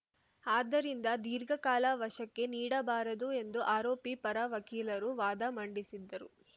ಆದ್ದರಿಂದ ದೀರ್ಘಕಾಲ ವಶಕ್ಕೆ ನೀಡಬಾರದು ಎಂದು ಆರೋಪಿ ಪರ ವಕೀಲರು ವಾದ ಮಂಡಿಸಿದ್ದರು